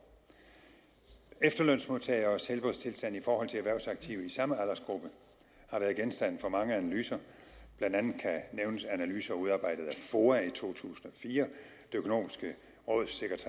efterlønsmodtageres helbredstilstand i forhold til erhvervsaktive i samme aldersgruppe har været genstand for mange analyser blandt andet kan nævnes analyser udarbejdet af foa i to tusind og fire